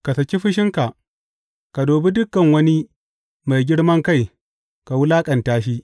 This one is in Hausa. Ka saki fushinka, ka dubi dukan wani mai girman kai ka wulaƙanta shi.